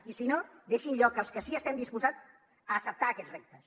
i si no deixin lloc als que sí que estem disposats a acceptar aquests reptes